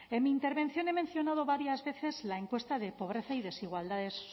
en mi intervención he mencionado varias veces la encuesta de pobreza y desigualdades